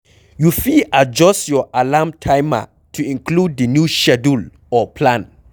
You fit adjuyst your alarm timer to include the new schedule or plan